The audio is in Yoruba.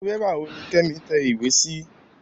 Irú bébà wò ní Kẹ́mi tẹ ìwé sí?